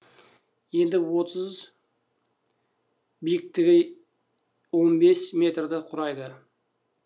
ені отыз биіктігі он бес метрді құрайды